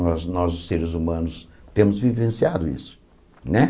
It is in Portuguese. Nós, nós os seres humanos, temos vivenciado isso né.